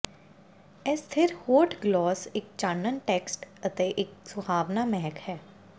ਇਹ ਸਥਿਰ ਹੋਠ ਗਲੌਸ ਇੱਕ ਚਾਨਣ ਟੈਕਸਟ ਅਤੇ ਇੱਕ ਸੁਹਾਵਣਾ ਮਹਿਕ ਹੈ